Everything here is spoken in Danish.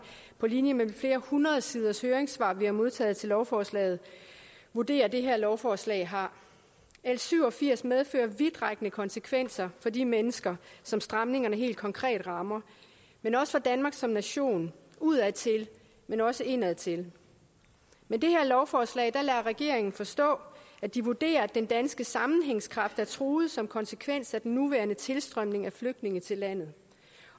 på linje med flere hundrede siders høringssvar som vi har modtaget til lovforslaget vurderer at det her lovforslag har l syv og firs medfører vidtrækkende konsekvenser for de mennesker som stramningerne helt konkret rammer men også for danmark som nation udadtil men også indadtil med det her lovforslag lader regeringen forstå at de vurderer at den danske sammenhængskraft er truet som konsekvens af den nuværende tilstrømning af flygtninge til landet